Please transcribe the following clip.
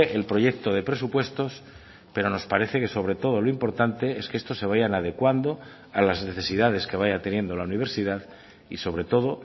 el proyecto de presupuestos pero nos parece que sobre todo lo importante es que estos se vayan adecuando a las necesidades que vaya teniendo la universidad y sobre todo